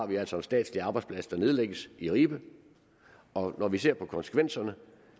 vi altså en statslig arbejdsplads der nedlægges i ribe og når vi ser på konsekvenserne